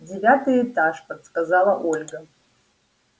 девятый этаж подсказала ольга